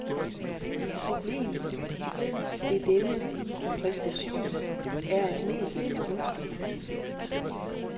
Problemet ved denne præsentation er at mediet er budskabet.